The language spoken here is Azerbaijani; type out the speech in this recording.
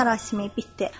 mərasimi bitdi.